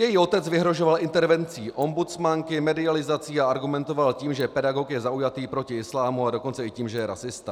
Její otec vyhrožoval intervencí ombudsmanky, medializací a argumentoval tím, že pedagog je zaujatý proti islámu, a dokonce i tím, že je rasista.